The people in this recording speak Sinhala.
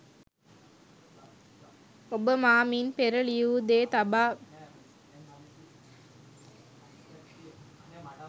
ඔබ මා මින් පෙර ලියු දේ තබා